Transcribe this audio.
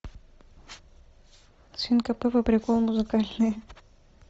свинка пеппа приколы музыкальные